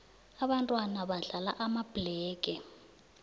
ababntwana badlala amabhlege